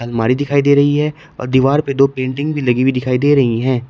मारी दिखाई दे रही है और दीवार पे दो पेंटिंग भी लगी हुई दिखाई दे रही हैं।